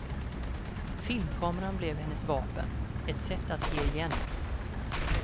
Filmkameran blev hennes vapen, ett sätt att ge igen.